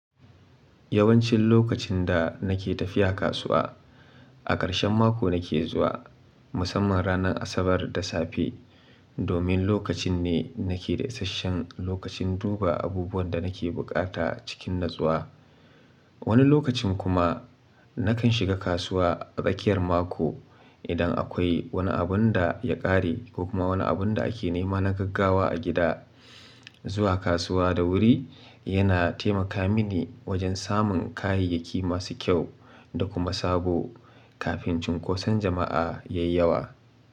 Yawancin lokacin da nake tafiya kasuwa, a ƙarshen mako nake zuwa musamman ranar Asabar da safe domin lokacin ne nake da isasshen lokacin duba abubuwan da nake bukata cikin natsuwa. Wani lokacin kuma nakan shiga kasuwa a tsakiyar mako idan akwai wani abun da ya ƙare ko kuma wani abun da ake nema na gaggawa a gida. Zuwa kasuwa da wuri yana taimaka mini wajen samun kayayyaki masu kyau da kuma sabo kafin cunkoson jama'a ya yi yawa.